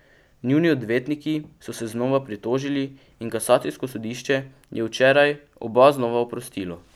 Njuni odvetniki so se znova pritožili in kasacijsko sodišče je včeraj oba znova oprostilo.